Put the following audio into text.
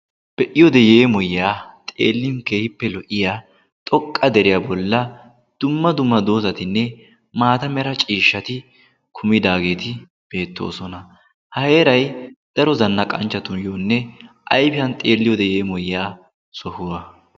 Be'iyode yeemoyyaa xeellin kehippe lo"iya xoqqa deriyaa bolla dumma duma doosatinne maata mera ciishshati kumidaageeti beettoosona. ha eerai daro zanna qancchatuyyoonne ayfianiyan xeelliyode yeemoyiyaa sohuwa.